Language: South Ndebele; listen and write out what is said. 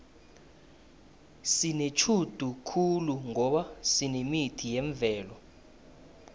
sinetjhudu khulu ngoba sinemithi yemvelo